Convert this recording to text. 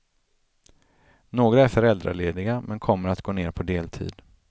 Några är föräldralediga, men kommer att gå ner på deltid.